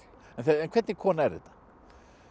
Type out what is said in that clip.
en hvernig kona er þetta